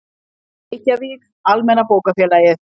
Reykjavík, Almenna bókafélagið.